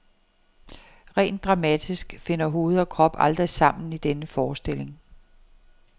Rent dramatisk finder hoved og krop aldrig sammen i denne forestilling.